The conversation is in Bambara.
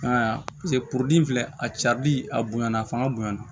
filɛ a cabili a bonyana a fanga bonyana